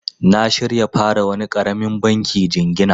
Na shirya fara wani karamin banki jingina.